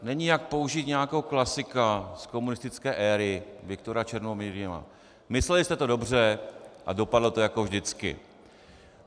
Není jak použít nějakého klasika z komunistické éry Viktora Černomyrdina: "Mysleli jste to dobře a dopadlo to jako vždycky."